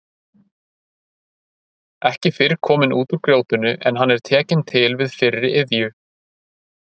Ekki fyrr kominn út úr grjótinu en hann er tekinn til við fyrri iðju.